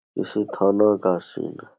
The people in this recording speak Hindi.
किसी थाना का सीन --